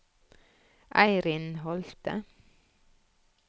Eirin Holthe